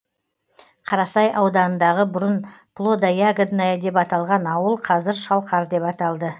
қарасай ауданындағы бұрын плодо ягодная деп аталған ауыл қазір шалқар деп аталды